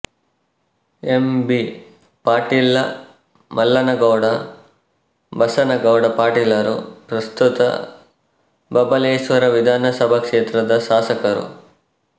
M B Patil Mallanagouda Basanagouda ಪಾಟೀಲರು ಪ್ರಸ್ತುತ ಬಬಲೇಶ್ವರ ವಿಧಾನ ಸಭಾ ಕ್ಷೇತ್ರದ ಶಾಸಕರು